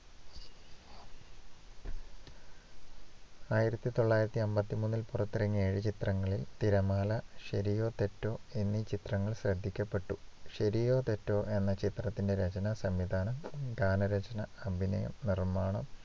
ആയിരത്തി തൊള്ളായിരത്തി അമ്പത്തിമൂന്നില്‍ പുറത്തിറങ്ങിയ എഴുചിത്രങ്ങളിൽ തിരമാല, ശരിയോ തെറ്റോ എന്നീ ചിത്രങ്ങൾ ശ്രദ്ധിക്കപ്പെട്ടു. ശരിയോ തെറ്റോ എന്ന ചിത്രത്തിന്റെ രചന, സംവിധാനം, ഗാനരചന, അഭിനയം, നിർമ്മാണം